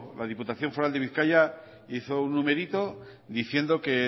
la diputación foral de bizkaia hizo un numerito diciendo que